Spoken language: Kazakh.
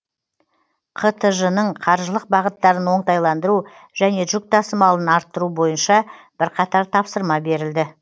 қтж ның қаржылық бағыттарын оңтайландыру және жүк тасымалын арттыру бойынша бірқатар тапсырма берілді